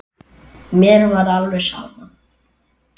Mér var alveg sama.